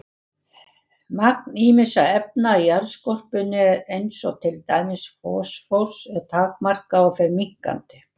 Magn ýmissa efna í jarðskorpunni eins og til dæmis fosfórs er takmarkað og fer minnkandi.